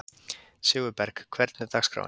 Sigurberg, hvernig er dagskráin?